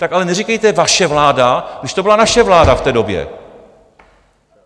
Tak ale neříkejte vaše vláda, když to byla naše vláda v té době.